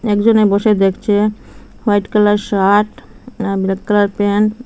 একজনে বসে দেখছে হোয়াইট কালার শাট আ ব্ল্যাক কালার প্যান ।